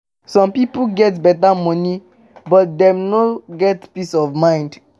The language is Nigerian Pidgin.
Some pipo get beta money but dem still no get peace of mind.